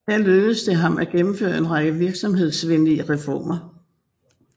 Her lykkedes det ham at gennemføre en række virksomhedsvenlige reformer